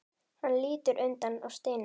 Hann lítur undan og stynur.